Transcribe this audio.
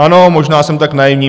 Ano, možná jsem tak naivní.